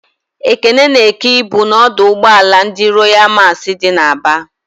Ekene na-èké ibu n'ọdụ ụgbọala ndị Royalụ Masị dị n'Aba.